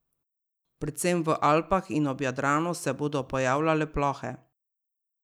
Predvsem v Alpah in ob Jadranu se bodo pojavljale plohe.